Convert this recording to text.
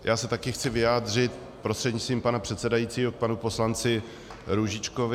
Já se taky chci vyjádřit prostřednictvím pana předsedajícího k panu poslanci Růžičkovi.